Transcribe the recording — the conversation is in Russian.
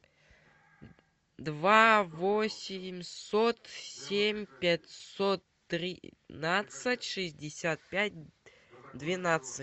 два восемьсот семь пятьсот тринадцать шестьдесят пять двенадцать